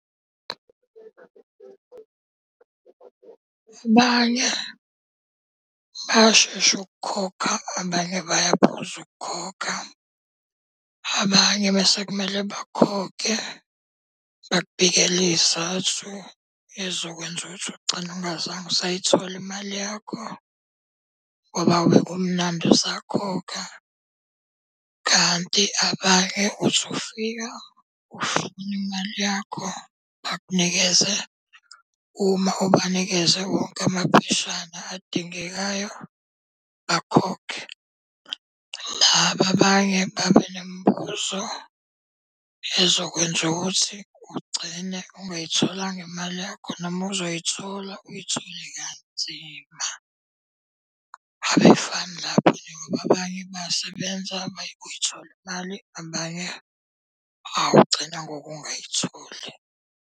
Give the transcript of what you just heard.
Abanye bayashesha ukukhokha, abanye bayaphuza ukukhokha. Abanye uma sekumele bakhokhe bakubikela iy'zathu ey'zokwenza ukuthi ugcine ungazange usay'thola imali yakho. Ngoba bekumnandi usakhokha, kanti abanye uthi ufika ufuna imali yakho bakunikeze uma ubanikeze wonke amapheshana adingekayo, bakhokhe. Laba abanye babe nemibuzo ezokwenza ukuthi ugcine ungayitholanga imali yakho noma uzoyithola uyithole kanzima. Abefani labo njengoba abanye bayasebenza, abanye uyithola imali, abanye awu ugcina ngokungayitholi.